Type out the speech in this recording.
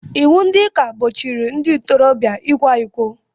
Iwu ndị ụka gbochiri ndị ntoroobịa ịkwa ịkọ